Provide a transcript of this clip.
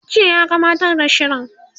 jiya ya gabbatar da shirin